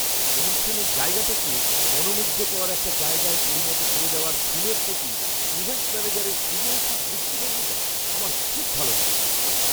অনুষ্ঠানের জায়গাটাকে মনোমুগ্ধকর একটা জায়গায় পরিণত করে দেওয়া থিমের প্রতি ইভেন্ট ম্যানেজারের সৃজনশীল দৃষ্টিভঙ্গিটা আমার খুব ভালো লেগেছে।